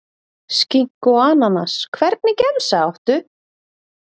Skinku og ananas Hvernig gemsa áttu?